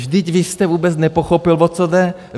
Vždyť vy jste vůbec nepochopil, o co jde.